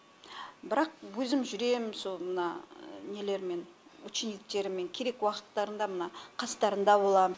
бірақ өзім жүрем сол мына нелеріммен учениктеріммен керек уақыттарында мына қастарында болам